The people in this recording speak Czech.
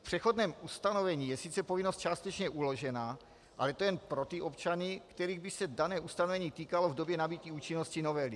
V přechodném ustanovení je sice povinnost částečně uložena, ale to jen pro ty občany, kterých by se dané ustanovení týkalo v době nabytí účinnosti novely.